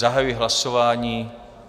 Zahajuji hlasování.